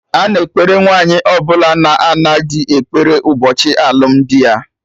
Ana ekpere Nwaanyi ọbụla na-ana dị ekpere ụbọchị alụmdi ya